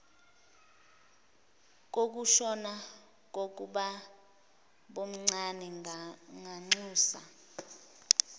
kokushona kukababomncane ngamnxusa